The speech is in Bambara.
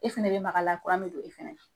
E fɛnɛ be maka la be don e fɛnɛ